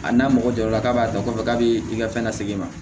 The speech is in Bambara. A n'a mɔgɔ jɔra k'a b'a dɔn k'a fɔ k'a bɛ i ka fɛn na segin ma